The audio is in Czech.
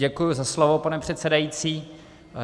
Děkuji za slovo, pane předsedající.